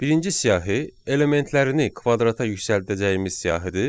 Birinci siyahı elementlərini kvadrata yüksəldəcəyimiz siyahıdır.